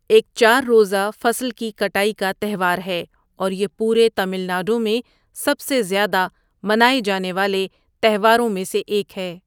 ایک چار روزہ فصل کی کٹائی کا تہوار ہے اور یہ پورے تامل ناڈو میں سب سے زیادہ منائے جانے والے تہواروں میں سے ایک ہے۔